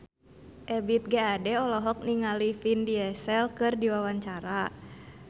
Ebith G. Ade olohok ningali Vin Diesel keur diwawancara